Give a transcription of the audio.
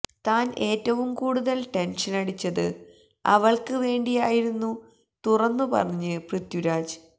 താന് ഏറ്റവും കൂടുതല് ടെന്ഷനടിച്ചത് അവള്ക്ക് വേണ്ടിയായിരുന്നു തുറന്നു പറഞ്ഞ് പൃഥ്വരാജ്